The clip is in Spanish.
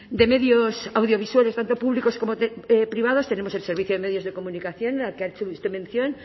de medios audiovisuales tanto públicos como privados tenemos el servicio de medios de comunicación al que ha hecho usted mención